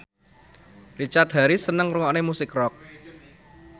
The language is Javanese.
Richard Harris seneng ngrungokne musik rock